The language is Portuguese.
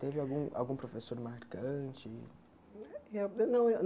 Teve algum algum professor marcante? Ê eu não eu